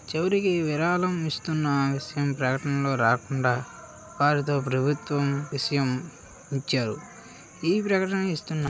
చివరికి విరాళం ఇస్తున్న విషయం ప్రకటనలో రాకుండ వారితో ప్రభుత్వం విషయం ఇచ్చారు ఈ ప్రకటన ఇస్తున్న--